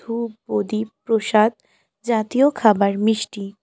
ধূপ প্রদীপ প্রসাদ জাতীয় খাবার মিষ্টি।